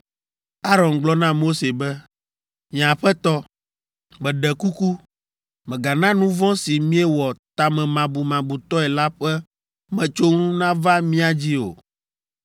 Aron gblɔ na Mose be, “Nye aƒetɔ, meɖe kuku, mègana nu vɔ̃ si míewɔ tamemabumabutɔe la ƒe metsonu nava mía dzi o.